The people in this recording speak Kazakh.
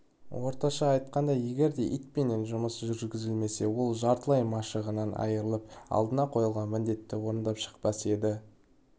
орташа айтқанда егерде итпенен жұмыс жүргізілмесе ол жартылай машығынан айырылып алдына қойылған міндетті орындап шықпас еді